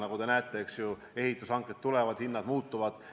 Nagu te näete, ehitushanked tulevad ja hinnad muutuvad.